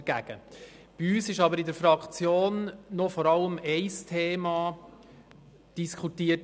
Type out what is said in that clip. Bei uns wurde aber in der Fraktion vor allem noch ein Thema diskutiert: